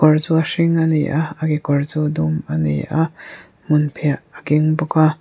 kawr chu a hring a ni a a kekawr chu a dum a ni a hmunphiah a keng bawk a.